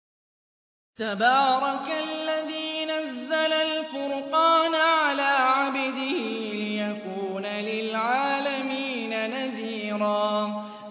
تَبَارَكَ الَّذِي نَزَّلَ الْفُرْقَانَ عَلَىٰ عَبْدِهِ لِيَكُونَ لِلْعَالَمِينَ نَذِيرًا